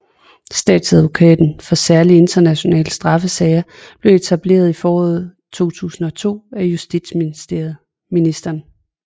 Statsadvokaten for særlige internationale straffesager blev etableret i foråret 2002 af justitsministeren